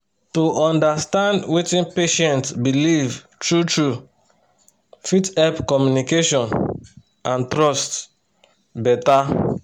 to understand wetin patient believe true-true fit help make communication and trust better